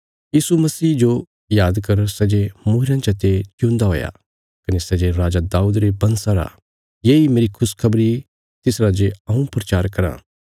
यीशु मसीह जो याद कर सै जे मूईरयां चते जिऊंदा हुया कने सै जे राजा दाऊद रे बंशा रा येई मेरी खुशखबरी तिस राजे हऊँ प्रचार कराँ